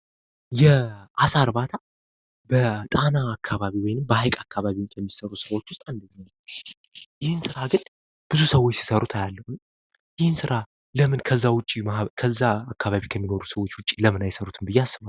የአሳ እርባታ በጣና አካባቢ ወይም በሃይቅ አካባቢ ከሚሰሩ ስራዎች ውስጥ አንዱ ነው። ይህን ስራ ግን ብዙዎች ሲሰሩት አያለሁ ይህን ስራ ለምን ከዛ ከሚኖሩ ማህበረሰቦች ውጪ አይሰሩትም ብነ አስባለሁ።